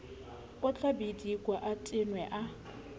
o tlabidika a thwene a